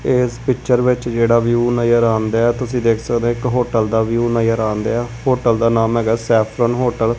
ਏਸ ਪਿੱਚਰ ਵਿੱਚ ਜਿਹੜਾ ਵਿਊ ਨਜ਼ਰ ਆਣ ਦਿਐ ਤੁਸੀਂ ਦੇਖ ਸਕਦੇ ਔ ਇੱਕ ਹੋਟਲ ਦਾ ਵਿਊ ਨਜਰ ਆਣ ਦਿਐ ਹੋਟਲ ਦਾ ਨਾਮ ਹੈਗਾ ਸੈਫ਼ਰਨ ਹੋਟਲ ।